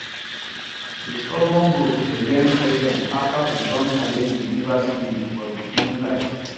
de stubborn goat dey learn patience after e don challenge de river spirit for de moonlight